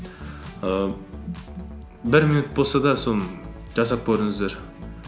ііі бір минут болса да соны жасап көріңіздер